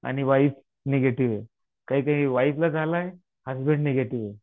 आणि wife negative आहे. काही काही वाईफला झालंय, हसबंड निगेटिव्ह ये.